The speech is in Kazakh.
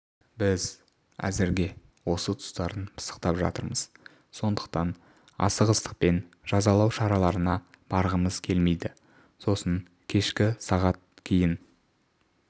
біз әзірге осы тұстарын пысықтап жатырмыз сондықтан асығыстықпен жазалау шараларына барғымыз келмейді сосын кешкі сағат кейін